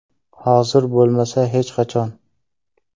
Hozir bo‘lmasa, hech qachon!